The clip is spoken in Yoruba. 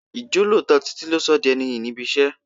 Ijolooto Títí lo sọ di ẹni iyì níbi iṣẹ́.